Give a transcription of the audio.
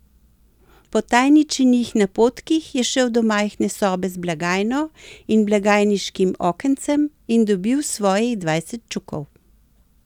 Po tajničinih napotkih je šel do majhne sobe z blagajno in blagajniškim okencem in dobil svojih dvajset čukov.